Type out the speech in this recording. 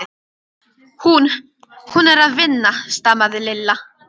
Hún. hún er að vinna stamaði Lilla.